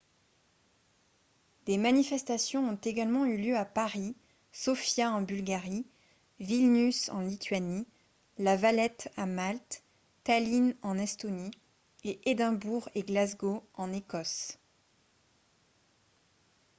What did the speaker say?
des manifestations ont également eu lieu à paris sofia en bulgarie vilnius en lituanie la valette à malte tallinn en estonie et édimbourg et glasgow en écosse